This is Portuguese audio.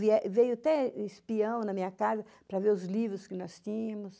Veio até espião na minha casa para ver os livros que nós tínhamos.